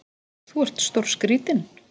Þú ert stórskrítinn!